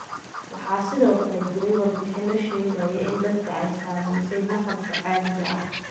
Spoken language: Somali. Waxaa sidoo kale jiray warbixino sheegaya in dadka ay saameysay maqalka caadiga ah.